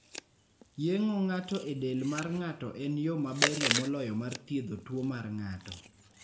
Yeng'o ng'ato e del mar ng'ato en yo maberie moloyo mar thiedho tuwo mar ng'ato.